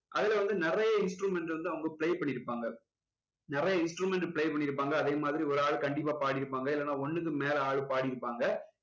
அதுல வந்து நிறைய instrument வந்து அவங்க play பண்ணியிருப்பாங்க நிறைய instrument play பண்ணியிருப்பாங்க அதே மாதிரி ஒரு ஆளு கண்டிப்பா பாடி இருப்பாங்க இல்லன்னா ஒண்ணுக்கு மேல ஆளு பாடி இருப்பாங்க